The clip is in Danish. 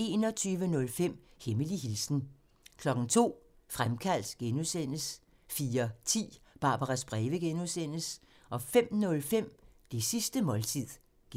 21:05: Hemmelig hilsen 02:00: Fremkaldt (G) 04:10: Barbaras breve (G) 05:05: Det sidste måltid (G)